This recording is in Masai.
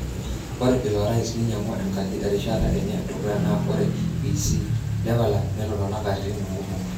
Ore ilo rais neinyangua enkaji erishata enye edukuya na ore Bi C leveland netotona katitin kumok.